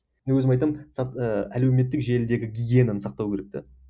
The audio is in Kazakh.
мен өзім айтамын ііі әлеуметтік желідегі гигиенаны сақтау керек те